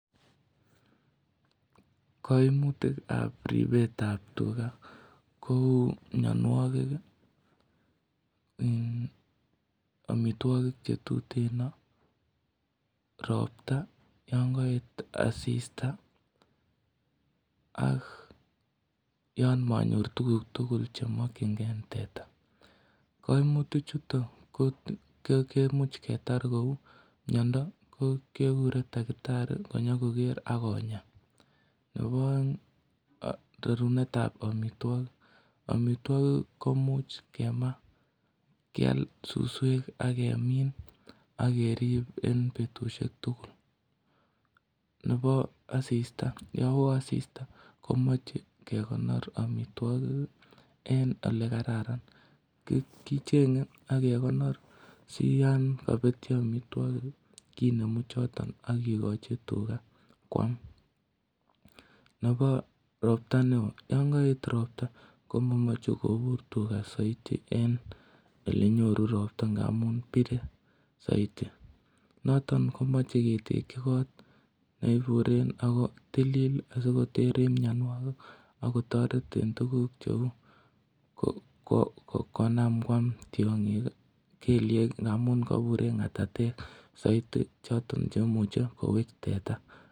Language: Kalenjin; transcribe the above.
Kaimutikab ribetab tuga ko miyonwokik omitwokik chetutin ropta yon kaet asista ak yon manyor tukuk tugul chemokchingei teta kaimutichuto komuuch ketar kou miyondo kekure taktari konyikoker akonya nebo oeng' rarunetab omitwokik omitwokik komuuch kema kial suswek akemin akerib en betushek tugul nebo asista yo oo asista komoche kokonor omitwokik en ole kararan kicheng'e akekonor si yon kapetyo omitwokik kinemu choton akokochi tuga kwam nebo ropta ne oo yon kaet ropta komamochei kobur tuga soiti en ole nyoru ropta ngamun bire saiti noto komoche ketekchi kot neiburen ako tilil asikotere miyonwokik akotoret en tukuk cheu konaam kwam tiong'ik kelyek ngaamun kabur en ng'atatek saiti choton cheimuche kowech teta